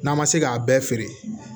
N'an ma se k'a bɛɛ feere